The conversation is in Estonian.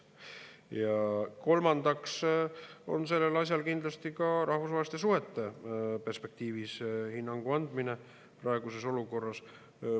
Ja kolmandaks on sellel asjal kindlasti ka rahvusvaheliste suhete perspektiivis hinnangu andmise praeguses olukorras.